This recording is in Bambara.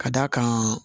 Ka d'a kan